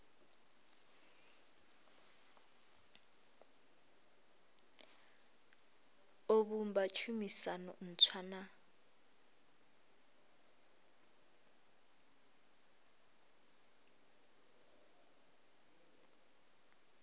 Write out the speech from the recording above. o vhumba tshumisano ntswa na